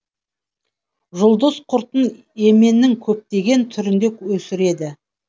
жұлдыз құртын еменнің көптеген түрінде өсіреді